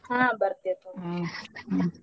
ಹಾ ಬರ್ತೆವ್ ತಗೋರಿ .